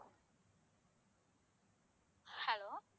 hello